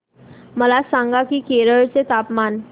मला सांगा की केरळ चे तापमान